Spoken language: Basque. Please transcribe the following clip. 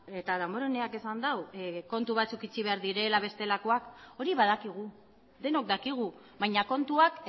eta damboreneak esan du kontu batzuk itxi behar direla bestelakoak hori badakigu denok dakigu baina kontuak